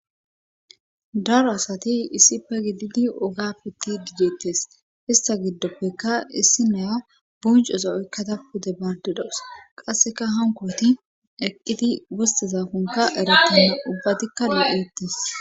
daro asati issife gididi oga pittdi deettes ista giddoppeka issi naya buncozaa oykkada pude baade dawus qasseka hankooti eqqidi wostezakonka erettena ubbatikka lo7eettes